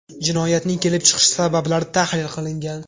Jinoyatning kelib chiqish sabablari tahlil qilingan.